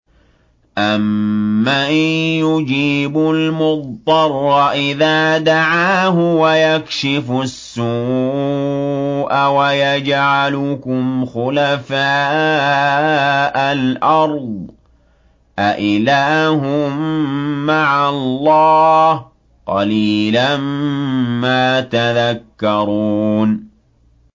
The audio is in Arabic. أَمَّن يُجِيبُ الْمُضْطَرَّ إِذَا دَعَاهُ وَيَكْشِفُ السُّوءَ وَيَجْعَلُكُمْ خُلَفَاءَ الْأَرْضِ ۗ أَإِلَٰهٌ مَّعَ اللَّهِ ۚ قَلِيلًا مَّا تَذَكَّرُونَ